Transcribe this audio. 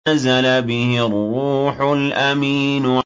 نَزَلَ بِهِ الرُّوحُ الْأَمِينُ